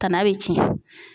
Tana bɛ cɛn .